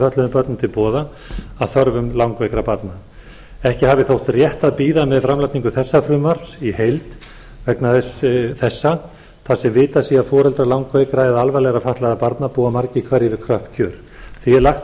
fötluðum börnum til boða að þörfum langveikra barna ekki hafi þótt rétt að bíða með framlagningu þessa frumvarps í heild vegna þessa þar sem vitað sé að foreldrar langveikra eða alvarlega fatlaðra barna búa margir hverjir við kröpp kjör því er lagt